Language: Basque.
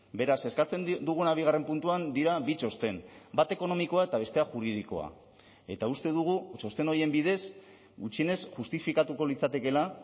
beraz eskatzen duguna bigarren puntuan dira bi txosten bat ekonomikoa eta bestea juridikoa eta uste dugu txosten horien bidez gutxienez justifikatuko litzatekeela